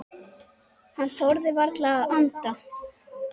Hann þorði varla að anda.